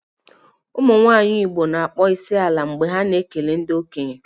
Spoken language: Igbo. Ụmụnwaanyị Igbo na-akpọ isiala mgbe ha na-ekele ndị okenye